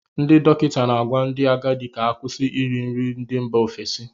Ndị dọkịta na-agwa ndị agadi ka ha kwụsị iri nri ndị mba ofesi